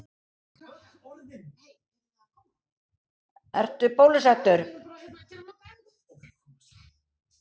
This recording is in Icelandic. Guðný: Og ert þú búin að fara í prufu?